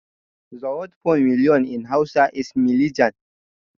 The word for million in hausa is milijan